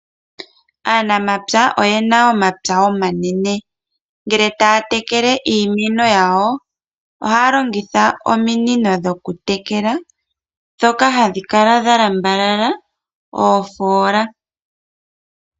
Aanamapya oyena omapya omanene ngele taya tekele iimeno yayo ohaya longitha ominino dhokutekela ndhoka hadhi kala dhalambalala oofoola.